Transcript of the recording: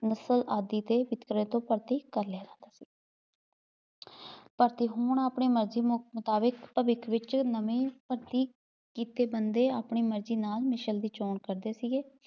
ਮਿਸਲ ਆਦਿ ਦੇ ਕਰ ਲਿਆ ਕਰਦੇ ਭਰਤੀ ਹੋਣ ਆਪਣੀ ਮਰਜ਼ੀ ਮੁਤਾਬਿਕ ਭਵਿੱਖ ਵਿੱਚ ਨਵੇ ਭਰਤੀ ਕੀਤੇ ਬੰਦੇ ਆਪਣੀ ਮਰਜ਼ੀ ਨਾਲ ਮਿਸਲ ਦੀ ਚੌਣ ਕਰਦੇ ਸੀਗੇ